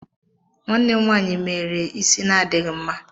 Nwanne m nwanyị meere isi na-adịghị mma